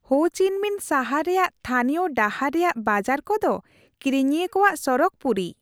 Ho Chi Minh ᱥᱟᱦᱟᱨ ᱨᱮᱭᱟᱜ ᱛᱷᱟᱱᱤᱭᱚ ᱰᱟᱦᱟᱨ ᱨᱮᱭᱟᱜ ᱵᱟᱡᱟᱨ ᱠᱚᱫᱚ ᱠᱤᱨᱤᱧᱤᱭᱟᱹ ᱠᱚᱣᱟᱜ ᱥᱚᱨᱚᱜᱽ ᱯᱩᱨᱤ ᱾